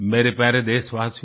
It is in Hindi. मेरे प्यारे देशवासियो